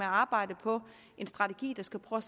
arbejde på en strategi der skal prøve